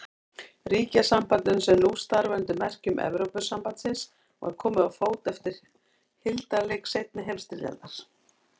Ríkjasambandinu, sem nú starfar undir merkjum Evrópusambandsins, var komið á fót eftir hildarleik seinni heimsstyrjaldar.